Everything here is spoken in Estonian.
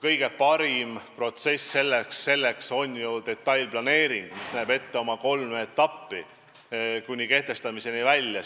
Kõige parem võimalus selleks on detailplaneering, mis näeb ette kolm etappi kuni kehtestamiseni välja.